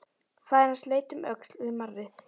Faðir hans leit um öxl við marrið.